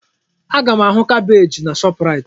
Aga m ahụ kabeeji na Shọpraịt.